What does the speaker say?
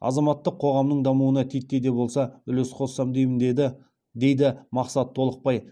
азаматтық қоғамның дамуына титтей де болса үлес қоссам деймін дейді мақсат толықбай